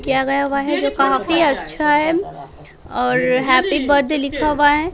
किया गया हुआ है जो काफी अच्छा है और हैप्पी बड्डे लिखा हुआ है।